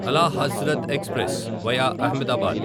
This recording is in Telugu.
అలా హజ్రత్ ఎక్స్ప్రెస్ వయా అహ్మదాబాద్